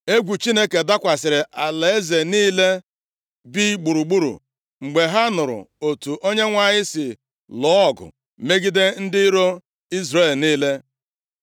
Egwu Chineke dakwasịrị alaeze niile bi gburugburu, mgbe ha nụrụ otu Onyenwe anyị si lụọ ọgụ megide ndị iro Izrel niile.